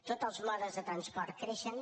tots els modes de transport creixen